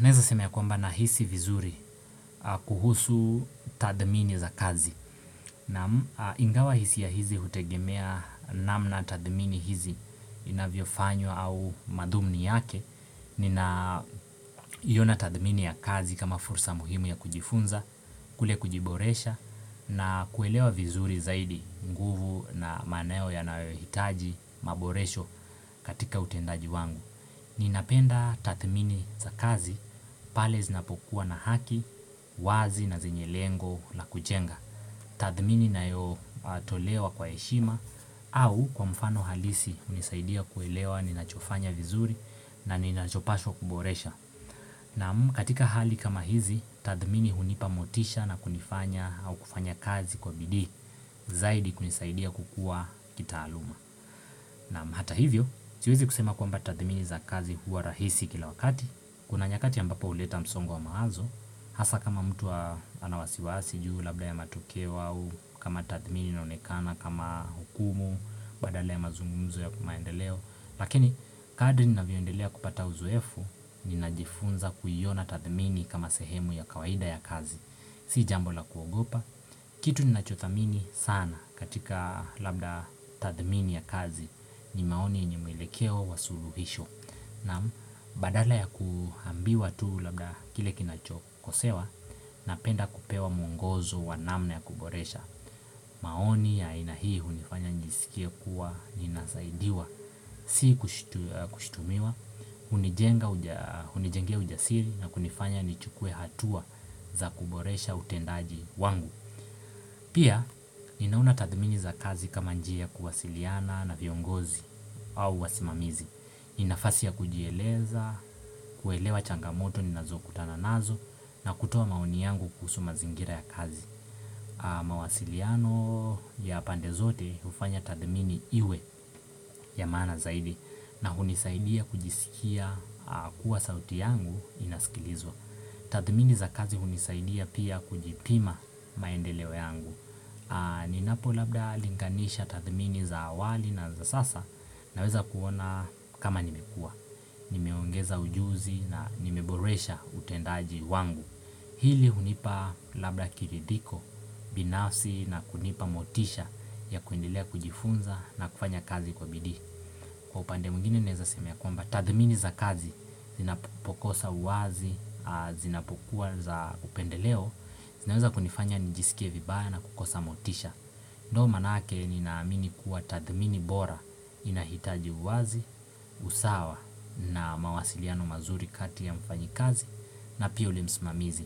Naeza sema ya kwamba na hisi vizuri kuhusu tadhmini za kazi. Na ingawa hisi ya hizi hutegemea namna tadhmini hizi inavyo fanywa au madhumni yake. Nina yona tadhmini ya kazi kama fursa muhimu ya kujifunza, kule kujiboresha na kuelewa vizuri zaidi nguvu na maneo ya nawe hitaji maboresho katika utendaji wangu. Ninapenda tathmini za kazi pale zinapokuwa na haki, wazi na zenye lengola kujenga. Tathmini na yo tolewa kwa eshima au kwa mfano halisi unisaidia kuelewa ninachofanya vizuri na ninachopaswa kuboresha. Naam katika hali kama hizi, tathmini unipamotisha na kunifanya au kufanya kazi kwa bidii zaidi kunisaidia kukua kita aluma. Naam hata hivyo, siwezi kusema kwamba tathmini za kazi huwa rahisi kila wakati, kuna nyakati ambapo uleta msongo wa maazo, hasa kama mtu anawasiwasi, juhu labda ya matokewa, kama tathmini naonekana, kama hukumu, badale ya mazungumzo ya kumaendeleo Lakini kadri nina viondelea kupata uzuefu, ninajifunza kuyiona tathmini kama sehemu ya kawaida ya kazi Si jambo la kuogopa, kitu nina chothamini sana katika labda tathmini ya kazi ni maoni yenye mwelekeo wa suluhisho Naam, badala ya kuhambiwa tu labda kile kinachokosewa, napenda kupewa mungozo wanamna ya kuboresha maoni ya inahii, unifanya njisikia kuwa, ninazaidiwa, si kushitumiwa, hunijengea ujasiri na kunifanya nichukue hatua za kuboresha utendaji wangu. Pia, ninauna tadmini za kazi kama njia kuwasiliana na viongozi au wasimamizi. Inafasi ya kujieleza, kuelewa changamoto, ninazo kutana nazo na kutua maoni yangu kusuma zingira ya kazi. Mawasiliano ya pandezote ufanya tathmini iwe ya mana zaidi na hunisaidia kujisikia kuwa sauti yangu inaskilizwa Tathmini za kazi hunisaidia pia kujipima maendeleo yangu Ninapo labda linganisha tathmini za awali na za sasa naweza kuona kama nimekua Nimeongeza ujuzi na nimeboresha utendaji wangu Hili hunipa labda kiridhiko binafsi na kunipa motisha ya kuendelea kujifunza na kufanya kazi kwa bidii Kwa upande mgini neza semea kwa mba tathmini za kazi zinapokosa uazi zinapokuwa za upendeleo zinaweza kunifanya nijisikie vibaya na kukosa motisha ndo manake ni naamini kuwa tathmini bora inahitaji uazi, usawa na mawasiliano mazuri kati ya mfanyi kazi na pia li msimamizi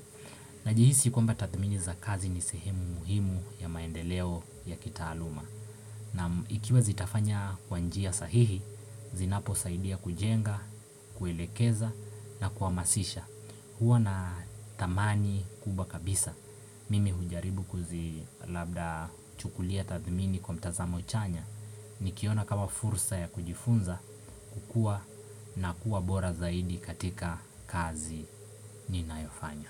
Najihisi kwamba tathmini za kazi ni sehemu muhimu ya maendeleo ya kitaaluma na ikiwa zitafanya kwanjia sahihi, zinapo saidia kujenga, kuelekeza na kuamasisha hua na tamani kubwa kabisa Mimi hujaribu kuzi labda chukulia tathmini kwa mtazamo chanya Nikiona kawa fursa ya kujifunza kukua na kuwa bora zaidi katika kazi ni nayofanya.